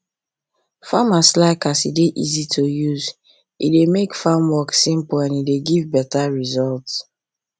farmers like as e dey easy to use e dey make farm work simple and e dey give better result